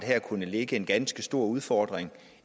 her kunne ligge en ganske stor udfordring